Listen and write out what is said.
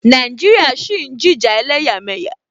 Nàìjíríà ṣì ń jìjà ẹlẹ́yàmẹyà.